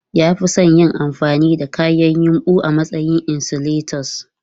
Ya fi son yin amfani da kayan yumbu a matsayin insulators.